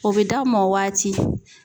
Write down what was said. O be d'a m'ɔ waati